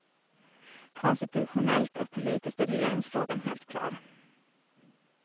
Konstitutionellt och politiskt är regeringsfrågan helt klar.